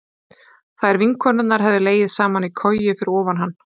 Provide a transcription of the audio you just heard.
Þær vinkonurnar hefðu legið saman í koju fyrir ofan hann.